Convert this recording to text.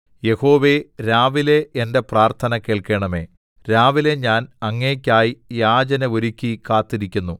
യഹോവേ രാവിലെ എന്റെ പ്രാർത്ഥന കേൾക്കണമേ രാവിലെ ഞാൻ അങ്ങേയ്ക്കായി യാചന ഒരുക്കി കാത്തിരിക്കുന്നു